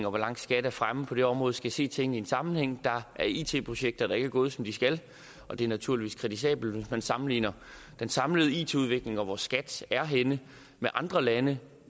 og hvor langt skat er fremme på det område skal se tingene i en sammenhæng der er it projekter der ikke er gået som de skal og det er naturligvis kritisabelt men sammenligner den samlede it udvikling og hvor skat er henne med andre lande